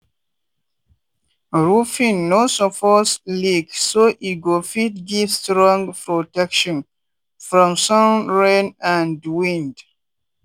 roofing no suppose leak so e go fit give strong protection from sun rain and wind.